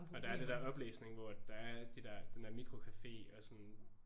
Og der er det der oplæsning hvor der er de der den der mikrocafé og sådan